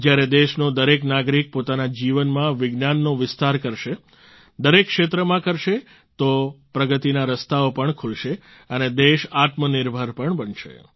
જ્યારે દેશનો દરેક નાગરિક પોતાના જીવનમાં વિજ્ઞાનનો વિસ્તાર કરશે દરેક ક્ષેત્રમાં કરશે તો પ્રગતિના રસ્તાઓ પણ ખૂલશે અને દેશ આત્મનિર્ભર પણ બનશે